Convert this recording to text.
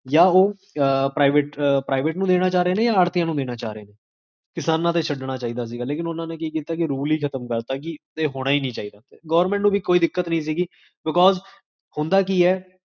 ਉਇਓ